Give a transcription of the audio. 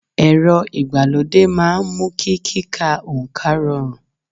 Ẹ̀rọ ìgbàlódé máa ń mú kí kíka oǹkà rọrùn